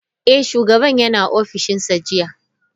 Eh, shugaban yana ofishinsa jiya.